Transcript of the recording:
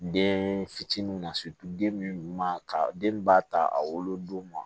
Den fitinin na den ɲuman ka den b'a ta a wolodon ma